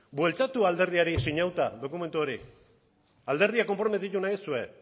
bueltatu alderdiari sinatuta dokumentu hori alderdia konprometitu nahi duzue